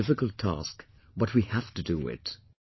It is a difficult task, but we have to do it